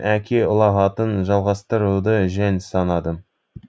әке ұлағатын жалғастыруды жөн санадым